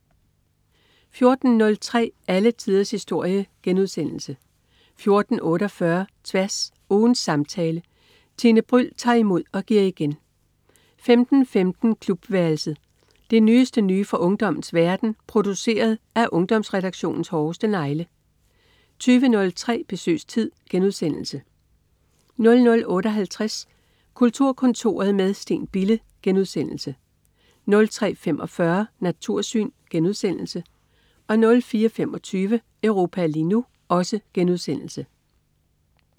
14.03 Alle tiders historie* 14.48 Tværs. Ugens samtale. Tine Bryld tager imod og giver igen 15.15 Klubværelset. Det nyeste nye fra ungdommens verden, produceret af Ungdomsredaktionens hårdeste negle 20.03 Besøgstid* 00.58 Kulturkontoret med Steen Bille* 03.45 Natursyn* 04.25 Europa lige nu*